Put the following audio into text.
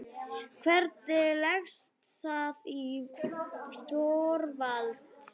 Hvernig leggst það í Þorvald?